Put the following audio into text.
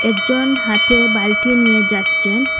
একজন হাতে বালটি নিয়ে যাচ্ছেন।